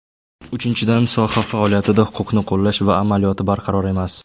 Uchinchidan, soha faoliyatida huquqni qo‘llash amaliyoti barqaror emas.